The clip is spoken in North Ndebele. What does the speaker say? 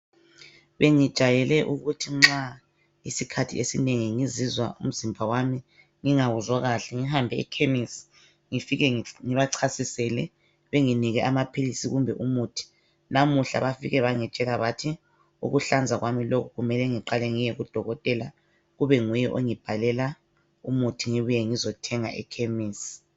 Bengijayele ukuthi nxa isikhathi eseinengi ngizizwa umzimba wami ngingawuzwa kahle ngihambe ekhemisi ngifike ngibachasisele benginike amaphilisi kumbe umuthi. Lamuhla bafike bangitshela bathi ukuhlanza kwami lokhu kumele ngiqale ngiye kudokotela kube nguye ongibhalela umuthi ngibuye ngizothenga ekhemisi.